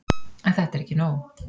En þetta er ekki nóg.